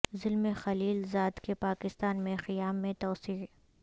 زلمے خلیل زاد کے پاکستان میں قیام میں توسیع